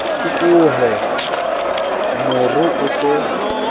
ke tshohe moru o se